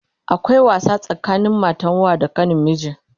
akwai wasa tsakanin matan wa da kanin miji